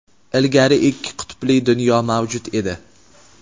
Ilgari ikki qutbli dunyo mavjud edi.